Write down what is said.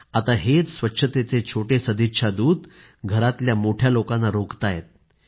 आता हेच स्वच्छतेचे छोटे सदिच्छा दूत घरातल्या मोठ्या लोकांना रोखताहेत